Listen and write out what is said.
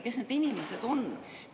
Kes need inimesed on?